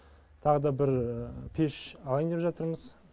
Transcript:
тағы да бір пеш алайын деп жатырмыз